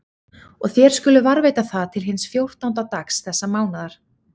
Og þér skuluð varðveita það til hins fjórtánda dags þessa mánaðar.